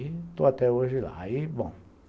Estou até hoje lá. Aí bom